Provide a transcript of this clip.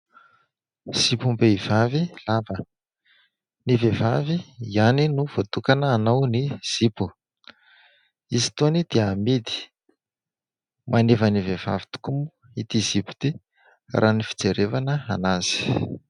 Zipom-behivavy lava, ny vehivavy ihany no voatokana hanao ny zipo. Izy itony dia amidy. Maneva ny vehivavy tokoa ity zipo ity raha ny fijerevana anazy.